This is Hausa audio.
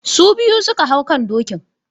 Su biyu su ka hau kan dokin.